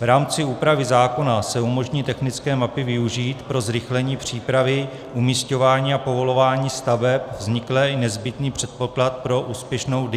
V rámci úpravy zákona se umožní technické mapy využít pro zrychlení přípravy umisťování a povolování staveb, vznikne i nezbytný předpoklad pro úspěšnou